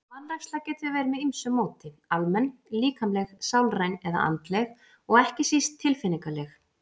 Vanræksla getur verið með ýmsu móti, almenn, líkamleg, sálræn eða andleg og ekki síst tilfinningaleg.